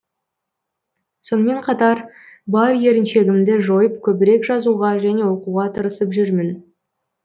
сонымен қатар бар еріншегімді жойып көбірек жазуға және оқуға тырысып жүрмін